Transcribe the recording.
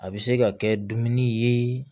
A bɛ se ka kɛ dumuni ye